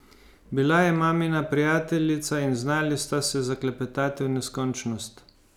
Bila je mamina prijateljica in znali sta se zaklepetati v neskončnost.